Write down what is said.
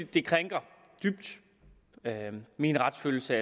det krænker min retsfølelse